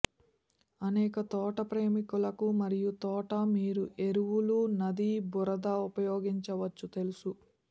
అనేక తోట ప్రేమికులకు మరియు తోట మీరు ఎరువులు నది బురద ఉపయోగించవచ్చు తెలుసు